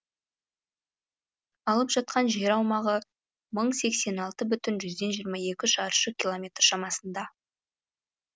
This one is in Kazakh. алып жатқан жер аумағы мың сексен алты бүтін жүзден жиырма екі шаршы километр шамасында